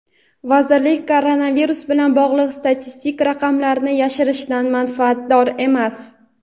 vazirlik koronavirus bilan bog‘liq statistik raqamlarni yashirishdan manfaatdor emas.